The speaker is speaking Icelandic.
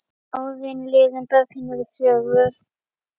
Árin liðu, börnin urðu fjögur.